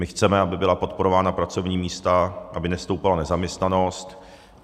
My chceme, aby byla podporována pracovní místa, aby nestoupala nezaměstnanost.